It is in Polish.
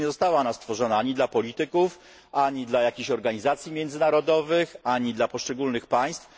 Przecież nie została ona stworzona ani dla polityków, ani dla jakichś organizacji międzynarodowych, ani dla poszczególnych państw.